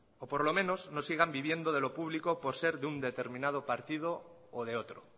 o por lo menos no sigan viviendo de lo público por ser de un determinado partido o de otro